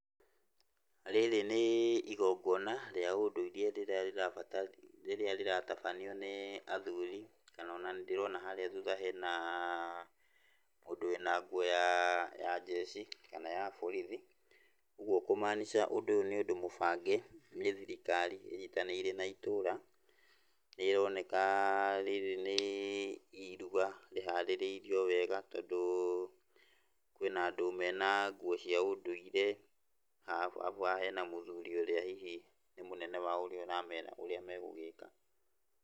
Rĩrĩ nĩ igongona rĩa ũndũire rĩrĩa rĩraba, rĩrĩa rĩratabanio nĩ athuri, kana ona nĩndĩrona harĩa thuutha hena mũndũ wĩna nguo ya jeshi kana ya borithi, ũgwo kumaanicha ũndũ ũyũ nĩ ũndũ mũbange nĩ thirikari ĩnyitanĩire na itũũra, nĩrĩroneka rĩrĩ nĩ iruga rĩharĩrĩirio wega, tondũ kwĩna andũ mena nguo cia ũndũire, alafu haha hena mũthuri ũrĩa hihi nĩ mũnene wao ũrĩa ũramera ũrĩa megũgĩka.